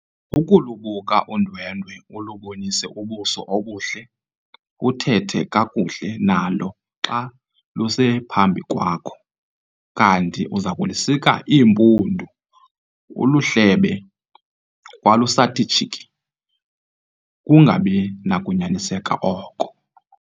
Ukulubuka udwendwe, ulubonise ubuso obuhle, uthethe kakuhle nalo xa lusephambi kwakho, kanti uzakulusika iimpundu, uluhlebe kwalusathi tshiki, kukungabi nakunyaniseka oko.